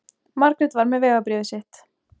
Margrét var með vegabréfið sitt.